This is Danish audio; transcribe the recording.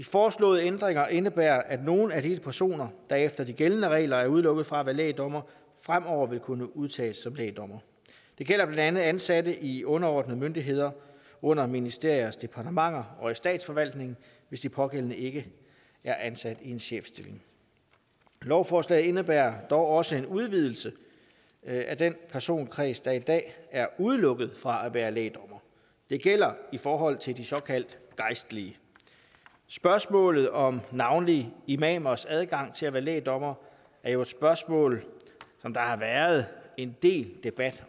foreslåede ændringer indebærer at nogle af de personer der efter de gældende regler er udelukket fra at være lægdommere fremover vil kunne udtages som lægdommere det gælder blandt andet ansatte i underordnede myndigheder under ministeriers departementer og i statsforvaltningen hvis de pågældende ikke er ansat i en chefstilling lovforslaget indebærer dog også en udvidelse af den personkreds der i dag er udelukket fra at være lægdommere det gælder i forhold til de såkaldt gejstlige spørgsmålet om navnlig imamers adgang til at være lægdommere er jo spørgsmål som der har været en del debat